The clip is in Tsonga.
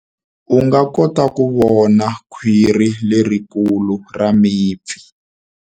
U nga kota ku vona khwiri lerikulu ra mipfi.